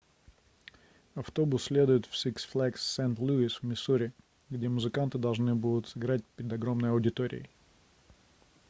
автобус следует в six flags st louis в миссури где музыканты должны будут сыграть перед огромной аудиторией